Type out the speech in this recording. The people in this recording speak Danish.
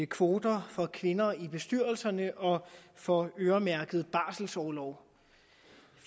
kvoter for kvinder i bestyrelserne og for øremærket barselorlov